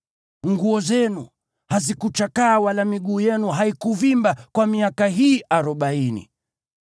Nguo zenu hazikuchakaa wala miguu yenu haikuvimba kwa miaka hii arobaini.